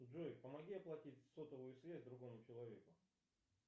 джой помоги оплатить сотовую связь другому человеку